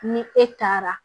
Ni e taara